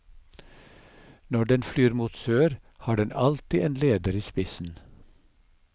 Når den flyr mot sør, har den alltid en leder i spissen.